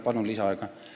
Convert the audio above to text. Palun lisaaega!